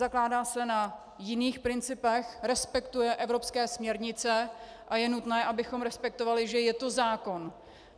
Zakládá se na jiných principech, respektuje evropské směrnice a je nutné, abychom respektovali, že je to zákon.